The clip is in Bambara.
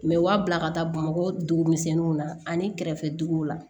Mɛ u b'a bila ka taa bamakɔ dugumisɛnninw na ani kɛrɛfɛ duguw la